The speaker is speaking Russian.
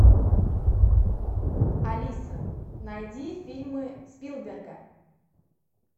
алиса найди фильмы спилберга